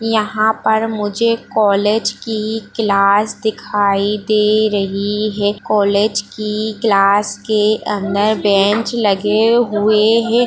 यहाँ पर मुझे कॉलेज की क्लास दिखाई दे रही है कॉलेज की क्लास के अंदर बेंच लगे हुए हैं।